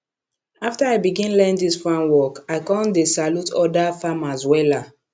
after i begin learn dis farm work i con dey salute oda farmers wella